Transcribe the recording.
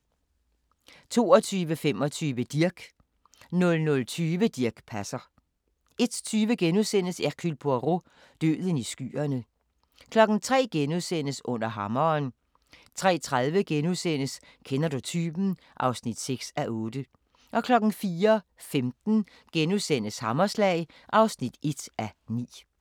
22:25: Dirch 00:20: Dirch Passer 01:20: Hercule Poirot: Døden i skyerne * 03:00: Under hammeren * 03:30: Kender du typen? (6:8)* 04:15: Hammerslag (1:9)*